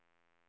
Sture Edberg